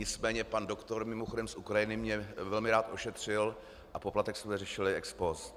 Nicméně pan doktor, mimochodem z Ukrajiny, mě velmi rád ošetřil a poplatek jsme řešili ex post.